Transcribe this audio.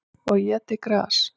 Og étið gras.